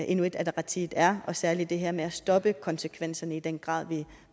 inuit ataqatigiit er og særlig det her med at stoppe konsekvenserne i den grad